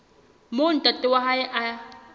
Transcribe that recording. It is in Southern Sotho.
moo ntate wa hae a